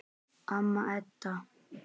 Amma Edda.